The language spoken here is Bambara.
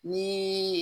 Ni